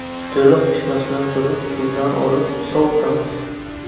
To‘liq pishmasidan turib, suvdan olib, sovitamiz.